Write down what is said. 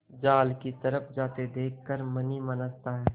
जाल की तरफ जाते देख कर मन ही मन हँसता है